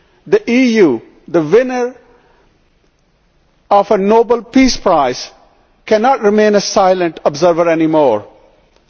The EU, the winner of a Nobel peace prize, cannot remain a silent observer any longer.